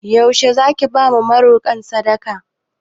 Yaushe Zaki bawa marokan sadaka?